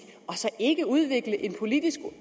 og så ikke udvikle en politisk